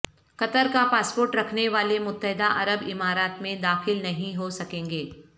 قطر کا پاسپورٹ رکھنے والے متحدہ عرب امارات میں داخل نہیں ہو سکیں گے